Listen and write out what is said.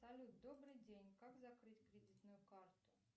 салют добрый день как закрыть кредитную карту